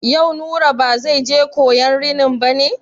Yau Nura ba zai je koyan rinin ba ne?